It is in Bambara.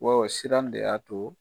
siran de y'a to